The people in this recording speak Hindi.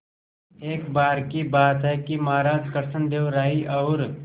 एक बार की बात है कि महाराज कृष्णदेव राय और